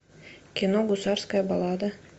кино гусарская баллада